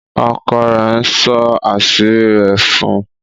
ọkọ rẹ nsọ àṣírí rẹ̀ fún.